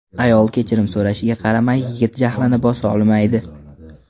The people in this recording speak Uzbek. Ayol kechirim so‘rashiga qaramay, yigit jahlini bosa olmaydi.